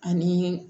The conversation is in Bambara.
Ani